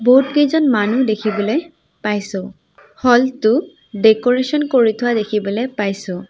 বহুত কেইজন মানুহ দেখিবলৈ পাইছোঁ হল টো ডেক'ৰেশ্যন কৰি থোৱা দেখিবলৈ পাইছোঁ।